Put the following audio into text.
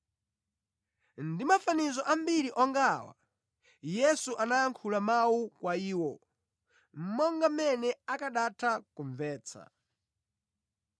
Ndi mafanizo ambiri onga awa Yesu anayankhula mawu kwa iwo, monga mmene akanatha kumvetsa.